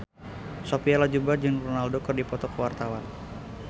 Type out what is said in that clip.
Sophia Latjuba jeung Ronaldo keur dipoto ku wartawan